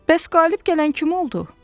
Bəs qalib gələn kim oldu?